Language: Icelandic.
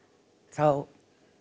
þá